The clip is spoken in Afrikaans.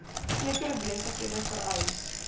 sekere besighede vereis